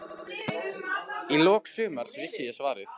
Í lok sumars vissi ég svarið.